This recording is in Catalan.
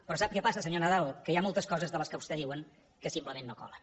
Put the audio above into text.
però sap què passa senyor nadal que hi ha moltes coses de les que vostès diuen que simplement no colen